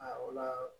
A wala